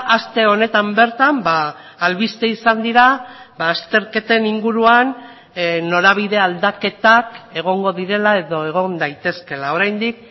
aste honetan bertan albiste izan dira azterketen inguruan norabide aldaketak egongo direla edo egon daitezkeela oraindik